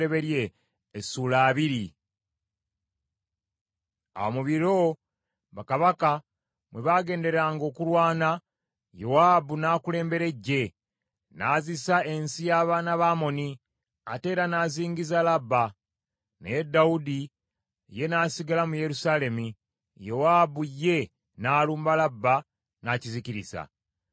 Awo mu biro, bakabaka mwe bagenderanga okulwana, Yowaabu n’akulembera eggye, n’azisa ensi y’abaana ba Amoni, ate era n’azingiza Labba. Naye Dawudi ye n’asigala mu Yerusaalemi, Yowaabu ye n’alumba Labba, n’akizikiriza.